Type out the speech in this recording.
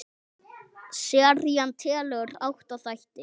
Serían telur átta þætti.